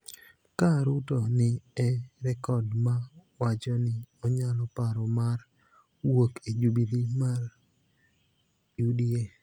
Ka Ruto ni e rekod ma wacho ni onyalo paro mar wuok e Jubile mar UDA,